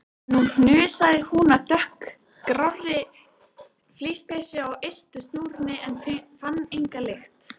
Nú hnusaði hún af dökkgrárri flíspeysu á ystu snúrunni en fann enga lykt.